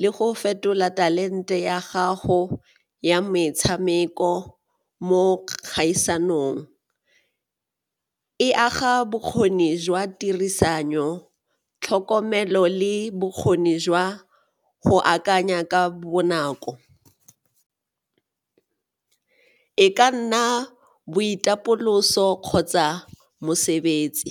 le go fetola talente ya gago ya metshameko mo kgaisanong, e aga bokgoni jwa tirisano, tlhokomelo le bokgoni jwa go akanya ka bonako, e ka nna boitapoloso kgotsa mosebetsi.